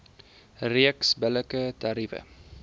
reeks billike tariewe